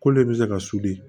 Kolo in bɛ se ka